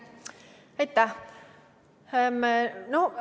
Aitäh!